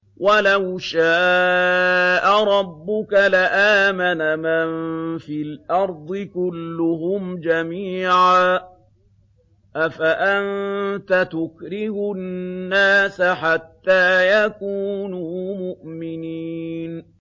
وَلَوْ شَاءَ رَبُّكَ لَآمَنَ مَن فِي الْأَرْضِ كُلُّهُمْ جَمِيعًا ۚ أَفَأَنتَ تُكْرِهُ النَّاسَ حَتَّىٰ يَكُونُوا مُؤْمِنِينَ